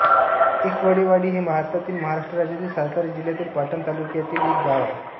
एकवडेवाडी हे भारतातील महाराष्ट्र राज्यातील सातारा जिल्ह्यातील पाटण तालुक्यातील एक गाव आहे